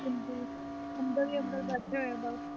ਹਾਂਜੀ ਅੰਦਰ ਹੀ ਅੰਦਰ ਬੈਠੇ ਹੋਏ ਹਾਂ ਬਸ।